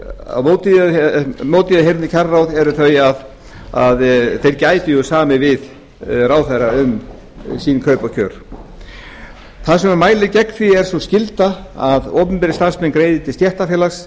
á móti því að semja við kjararáð eru þau að þeir gætu samið við ráðherra um sitt kaup og kjör það sem mælir gegn því er sú skylda að opinberir starfsmenn greiði til stéttarfélags